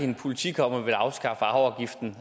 en politik om at ville afskaffe arveafgiften